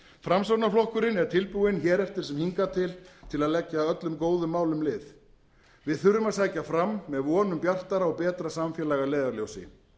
framsóknarflokkurinn er tilbúinn hér eftir sem hingað til til að leggja öllum góðum málum lið við þurfum að sækja fram með von um bjartara og betra samfélag að leiðarljósi